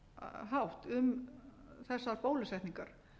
jákvæðan hátt um þessar bólusetningar